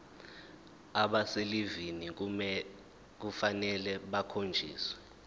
abaselivini kufanele bakhonjiswe